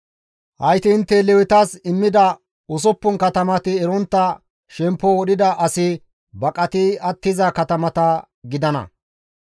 Hayti intte Lewetas immida usuppun katamati erontta shemppo wodhida asi baqati attiza katamata gidana.